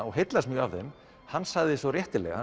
og heillaðist mjög af þeim hann sagði svo réttilega